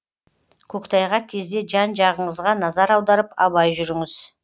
көктайғақ кезде жан жағыңызға назар аударып абай жүріңіз